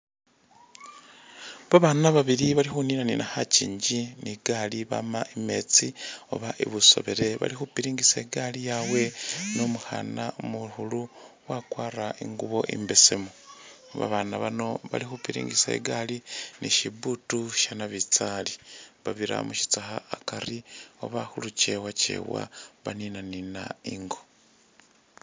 Ba bana babili bali khuninanina khakyingi ni i gali bama I metsi oba i busebele bali khupiringisa igali yawe ni umukhana umukhulu wakwara i ngubo imbesemu, ba bana bano bali khupiringisa igali ni shiputi sha nabitsali babira mushitsakha akari oba khulukyewakyewa baninanina ingo.